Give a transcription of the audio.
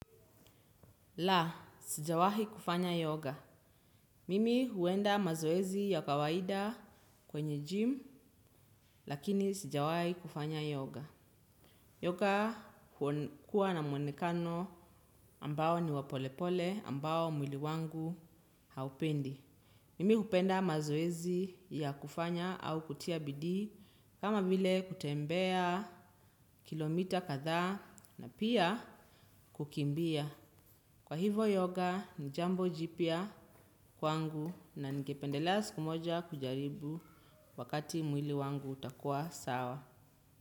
La, sijawahi kufanya yoga. Mimi huenda mazoezi ya kawaida kwenye gym lakini sijawahi kufanya yoga. Yoga kuwa na mwonekano ambao ni wa polepole ambao mwili wangu haupendi. Mimi hupenda mazoezi ya kufanya au kutia bidii kama vile kutembea kilomita kadhaa na pia kukimbia. Kwa hivo yoga ni jambo jipya kwangu na ningependela siku moja kujaribu wakati mwili wangu utakua sawa.